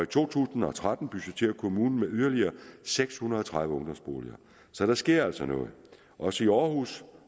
to tusind og tretten budgetterer kommunen med yderligere seks hundrede og tredive ungdomsboliger så der sker altså noget også i aarhus